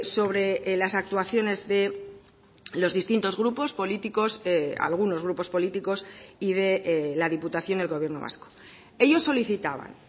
sobre las actuaciones de los distintos grupos políticos algunos grupos políticos y de la diputación del gobierno vasco ellos solicitaban